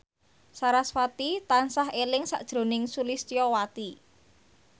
sarasvati tansah eling sakjroning Sulistyowati